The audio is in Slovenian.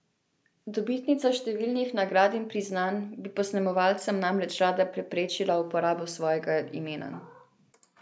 Dobitnica številnih nagrad in priznanj bi posnemovalcem namreč rada preprečila uporabo svojega imena.